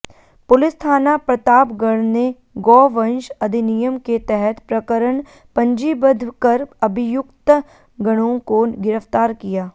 police थाना प्रतापगढ ने गौवंश अधिनियम के तहत प्रकरण पंजीबद्ध कर अभियुक्तगणों को गिरफ्तार किया